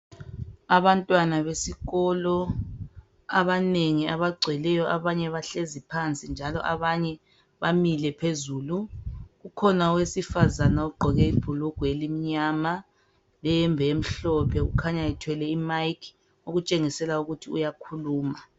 Abantwana besikolo abanengi abagcweleyo abanye bahlezi phansi njalo abanye bamile phezulu, kukhona owesifazane ogqoke ibhulugwa elimnyama lehembe emhlophe kukhanya ethwele imayikhi okutshengisela ukuthi uyakhuluma.